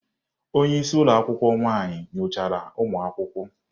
Onye isi ụlọ akwụkwọ nwaanyị nyochara ụmụ akwụkwọ.